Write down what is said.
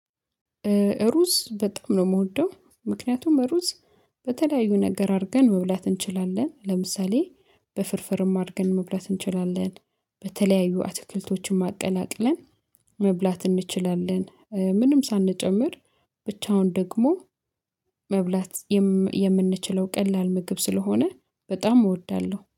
ሩዝ በጣም ነው የምወደው ምክንያቱም ሩዝ በተለያዩ ነገር አድርገን መብላት እንችላለን ለምሳሌ በፍርፍርም አድርገን መብላት እንችላለን በተለያዩ አትክልቶችንም አቀላቅለን መብላት እንችላለን። ምንም ሳንጨምር ብቻውን ደግሞ መብላት የምንችለው ቀላል ምግብ ስለሆነ በጣም እወዳለሁ